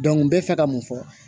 n bɛ fɛ ka mun fɔ